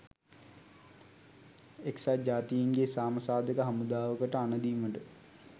එක්සත් ජාතීන්ගේ සාම සාධක හමුදාවකට අණදීමට